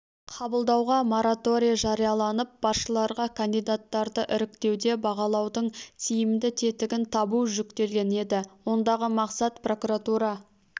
қабылдауға мораторий жарияланып басшыларға кандидаттарды іріктеуде бағалаудың тиімді тетігін табу жүктелген еді ондағы мақсат прокуратура